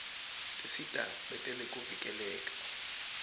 tisita betekuvikeleka